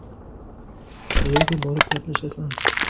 Qayerga borib gaplashasan?